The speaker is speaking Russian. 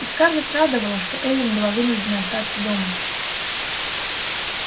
и скарлетт радовало что эллин была вынуждена остаться дома